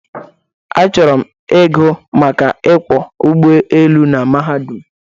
Achọrọ m igụ maka ịkwọ ụgbọelu n mahadum